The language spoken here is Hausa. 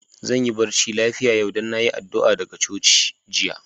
Zan yi barci lafia yau, dan na yi addu'a daga coci jiya.